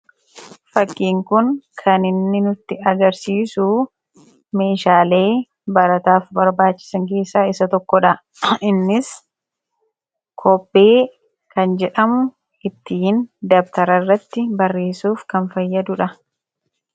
Fakkiin kun kan inni nutti agarsiisu, meeshaalee barataaf barbaachisan keessa isa tokkodha. Innis kobbee kan jedhamu, ittiin dabtararratti barreessuuf kan fayyadudha.